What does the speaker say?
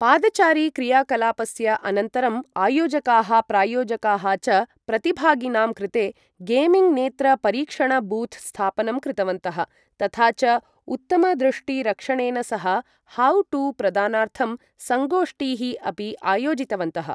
पादचारी क्रियाकलापस्य अनन्तरं आयोजकाः प्रायोजकाः च प्रतिभागिनां कृते गेमिंग नेत्र परीक्षण बूथ स्थापनं कृतवन्तः तथा च उत्तम दृष्टि रक्षणेन सह हाउ टू प्रदानार्थं संगोष्ठीः अपि आयोजितवन्तः ।